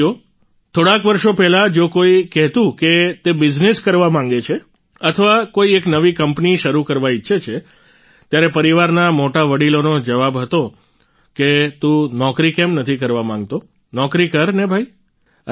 સાથીઓ થોડાક વર્ષો પહેલાં જો કોઈ કહેતું કે તે બિઝનેસ કરવા માંગે છે અથવા કોઈ એક નવી કંપની શરૂ કરવા ઈચ્છે છે ત્યારે પરિવારના મોટા વડિલોનો જવાબ હતો કે તુ નોકરી કેમ નથી કરવા માંગતો નોકરી કર ને ભાઈ